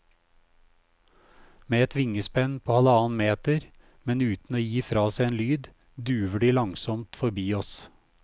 Med et vingespenn på halvannen meter, men uten å gi fra seg en lyd, duver de langsomt forbi oss.